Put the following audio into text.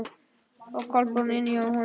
Og Kolbrún inni hjá honum.